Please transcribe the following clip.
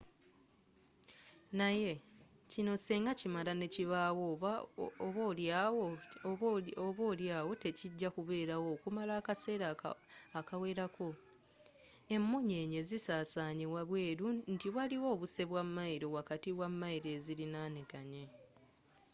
naye kino singa kimala nekibaawo oba oli awo tekijja kubeerawo okumala akaseera akawerako.emunyenye zisasanye wabweru nti waliwo obuse bwa mayiro wakati wa mayiro eziliranaganye